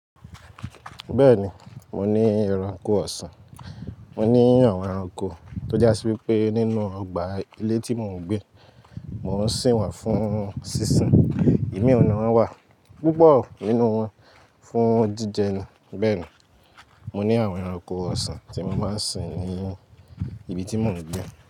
Bẹ́ẹ̀ni, mo ní ẹranko ọ̀sán. Mo ní àwọn ẹranko tó jásí wí pé nínú ọgbà ilé tí mò ń gbé, mò ń sìn wọn fún sísìn. Imi nínú won wá púpọ̀ nínú wọn fún jíjẹ ni. Bẹ́ẹ̀ ni, mo ní àwọn ẹranko ọ̀sán tí mo máa ń sìn ní ibi tí mò ń gbé.